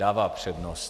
Dává přednost.